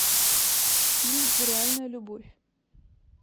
фильм реальная любовь